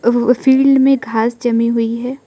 Field में घास जमी हुई है।